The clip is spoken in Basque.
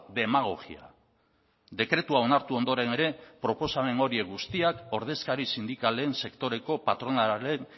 demagogia dekretua onartu ondoren ere proposamen horiek guztiak ordezkari sindikalen sektoreko patronalaren